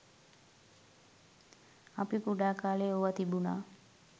අපි කුඩා කාලයේ ඕවා තිබුනා.